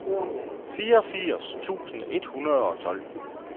fireogfirs tusind et hundrede og tolv